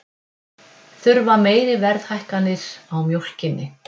Þurfa meiri verðhækkanir á mjólkinni